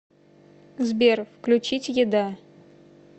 сбер включить еда